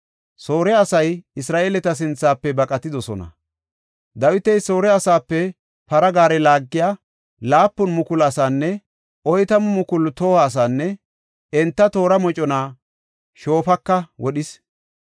Soore asay Isra7eeleta sinthafe baqatidosona; Dawiti Soore asaape para gaare laagiya 7,000 asaanne 40,000 toho asaanne enta toora mocona Shoofaka wodhis.